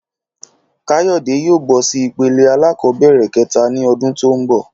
Káyòdé yóò bó sí ipele alákòóbèrè kéta ní odún tó n bò